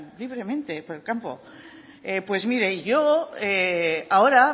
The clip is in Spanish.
libremente por el campo pues mire yo ahora